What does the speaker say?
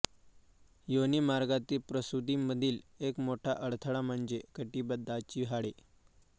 योनिमार्गातील प्रसूतीमधील एक मोठा अडथळा म्हणजे कटिबंधाची हाडे